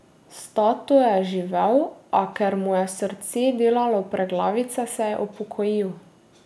Stato je živel, a ker mu je srce delalo preglavice, se je upokojil.